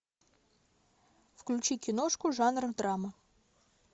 включи киношку жанра драма